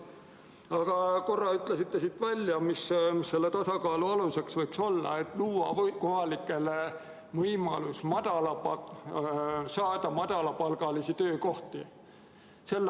Aga korra ütlesite välja, mis selle tasakaalu aluseks võiks olla: luua kohalikele võimalus saada madalapalgalisi töökohti.